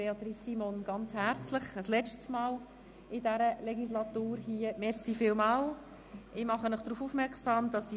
Ich bedanke mich ein letztes Mal während dieser Legislaturperiode herzlich bei Regierungsrätin Simon.